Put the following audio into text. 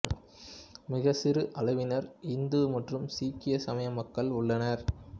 மிகச்சிறு அளவினர் இந்து மற்றும் சீக்கிய சமய மக்கள் உள்ளனர்